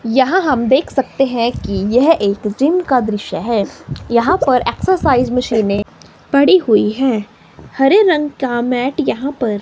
यहां हम देख सकते है कि यह एक जिम का दृश्य है यहां पर एक्सर्साइज मशीनें पड़ी हुई है हरे रंग का मैट यहां पर--